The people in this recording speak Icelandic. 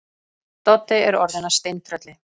Doddi er orðinn að steintrölli.